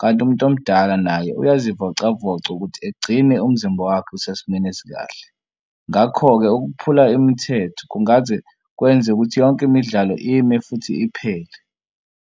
kanti umuntu omdala naye uyazivocavoca ukuthi egcine umzimba wakhe usesimeni esikahle. Ngakho-ke ukuphula imithetho kungaze kwenzeke ukuthi yonke imidlalo ime futhi iphele.